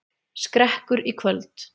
Skrekkur í kvöld